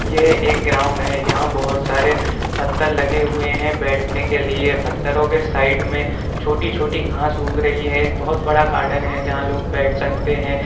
यह एक ग्राउंड है| यहां बहुत सारे पत्थर लगे हुए हैं बैठने के लिए| पत्थरों के साइड में छोटी-छोटी घास उग रही है| एक बहुत बड़ा गार्डन है जहां लोग बैठ सकते हैं।